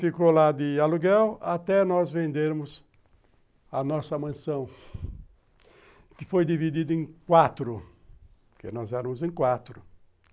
Ficou lá de aluguel até nós vendermos a nossa mansão, que foi dividida em quatro, porque nós éramos em quatro.